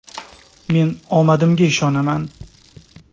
Men omadimga ishonaman!